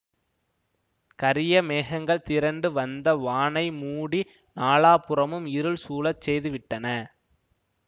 கரிய மேகங்கள் திரண்டு வந்த வானை மூடி நாலாபுறமும் இருள் சூழச் செய்துவிட்டன